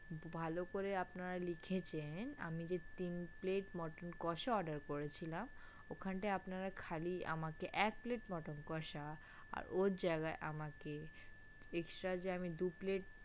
ভালো করে আপনারা লিখেছেন আমি যে তিন plate mutton কষা order করেছিলাম ওখানটায় আপনারা খালি আমাকে এক plate mutton কষা আর ওর জায়গায় আমাকে extra যে আমি দু plate